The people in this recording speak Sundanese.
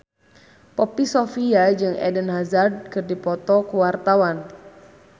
Poppy Sovia jeung Eden Hazard keur dipoto ku wartawan